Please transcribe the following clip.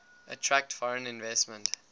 attract foreign investment